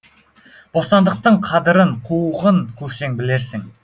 бостандықтың қадырын қуғын көрсең білерсің